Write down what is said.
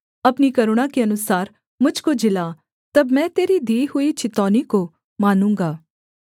अपनी करुणा के अनुसार मुझ को जिला तब मैं तेरी दी हुई चितौनी को मानूँगा